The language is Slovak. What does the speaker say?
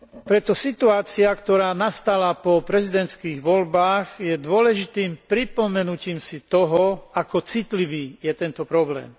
Preto situácia, ktorá nastala po prezidentských voľbách, je dôležitým pripomenutím si toho, ako citlivý je tento problém.